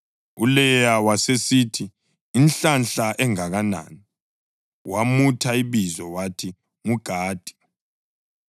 ULeya wasesithi, “Inhlanhla engakanani!” Wamutha ibizo wathi nguGadi.